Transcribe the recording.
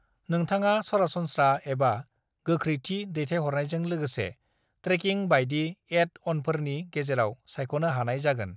नोंथांआ सरासनस्रा एबा गोख्रैथि दैथायहरनायजों लोगोसे ट्रेकिं बायदि एड-अनफोरनि गेजेराव सायख'नो हानाय जागोन।